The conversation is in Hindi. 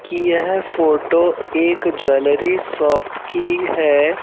कि यह फोटो एक ज्वेलरी शॉप की है।